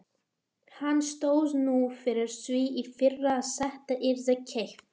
Hann stóð nú fyrir því í fyrra að þetta yrði keypt.